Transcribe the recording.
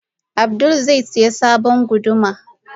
Abdul zai siya sabon guduma.